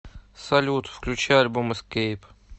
салют включи альбом эскейп